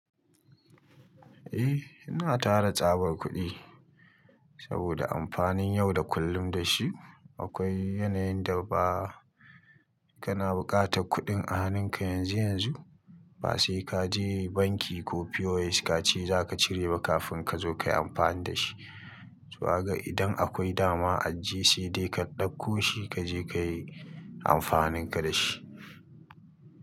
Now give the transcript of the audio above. Eh, ina tara tsabar kuɗi saboda amfanin yau da kullum da shi. Akwai yanayin da ba kana buƙatar kuɗin a hanunka yanzu yanzu ba sai ka je banki ko POS ka ce za ka cire ba kafin ka zo ka yi amfani da shi. To kaga idan akwai dama ajiye sai dai ka ɗauko shi, ka je ka yi amfanin ka da shi.